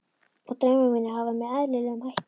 Og draumar mínir hafa verið með eðlilegum hætti.